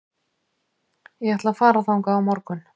Ég ætla að fara þangað á morgun.